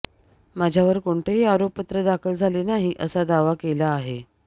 माझ्यावर कोणतंही आरोपपत्र दाखल झाले नाही असा दावा केला आहे